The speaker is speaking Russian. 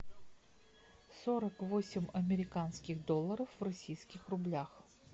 сорок восемь американских долларов в российских рублях